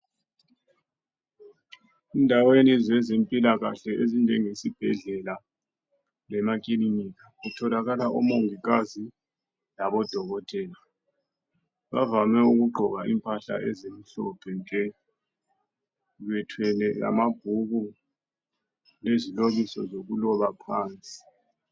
Endaweni zezempilakahle ezinjengesibhedlela lemakilinika kutholakala oMongikazi labo Dokotela. Bavame ukugqoka impahla ezimhlophe nke. Bethwele lamabhuku ezilobiso lokuloba phansi.